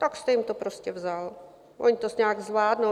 Tak jste jim to prostě vzal, oni to nějak zvládnou.